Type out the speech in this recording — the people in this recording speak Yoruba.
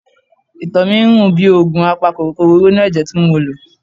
Ìtọ̀ mi ń rùn bíi òògùn apakòkòrò inú ẹ̀jẹ̀ tí mo lò.